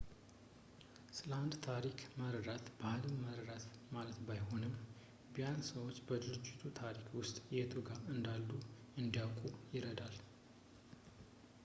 ስለ አንድ ታሪክ መረዳት ባህልን መረዳት ማለት ባይሆንም ቢያንስ ሰዎች በድርጅቱ ታሪክ ውስጥ የቱ ጋር እንዳሉ እንዲያውቁ ይረዳል